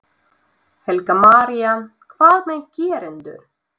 Helga María: Hvað með gerendur?